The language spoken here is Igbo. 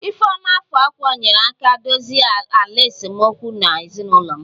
ifeoma afọ ọkwa nyeere aka dozie ala esemokwu na ezinụlọ m